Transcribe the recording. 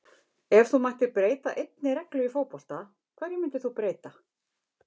Ef þú mættir breyta einni reglu í fótbolta, hverju myndir þú breyta??